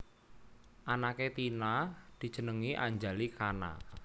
Anake Tina dijenengi Anjali Khana